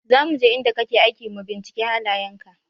Za muje inda kake aiki mu binciki halayen ka.